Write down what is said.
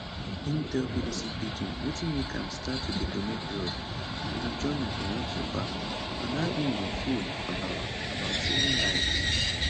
im tell bbc pidgin wetin make am start to dey donate blood im journey um so far and how im dey feel about about saving lives